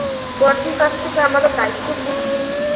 বড়দির কাছ থেকে আমাদের দায়িত্ব বুঝে নেই